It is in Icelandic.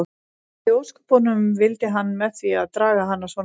Hvað í ósköpunum vildi hann með því að draga hana svona inn.